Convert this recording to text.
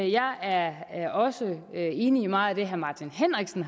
jeg er er også enig i meget af det herre martin henriksen